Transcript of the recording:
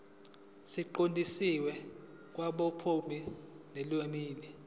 siqondiswe kwabophiko lwezimali